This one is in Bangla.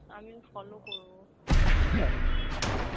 আমিও follow করবো তোকে inspire